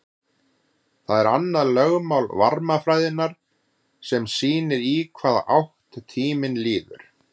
það er annað lögmál varmafræðinnar sem sýnir í hvaða átt tíminn líður